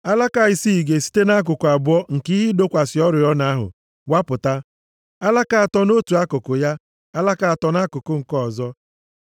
Alaka isii ga-esite nʼakụkụ abụọ nke ihe ịdọkwasị oriọna ahụ wapụta, alaka atọ nʼotu akụkụ ya, alaka atọ nʼakụkụ nke ọzọ.